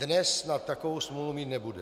Dnes snad takovou smůlu mít nebude.